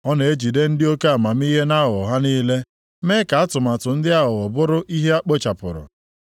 Ọ na-ejide ndị oke amamihe nʼaghụghọ ha niile, mee ka atụmatụ ndị aghụghọ bụrụ ihe e kpochapụrụ.